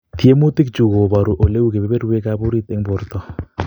Tyemutik chu koboru ele u kebeberwek ab orit en borto